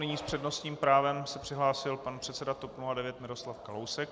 Nyní s přednostním právem se přihlásil pan předseda TOP 09 Miroslav Kalousek.